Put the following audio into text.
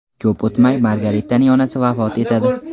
Ko‘p o‘tmay Margaritaning onasi vafot etadi.